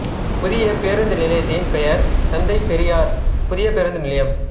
புதிய பேருந்து நிலையத்தின் பெயர் தந்தை பெரியார் புதிய பேருந்து நிலையம்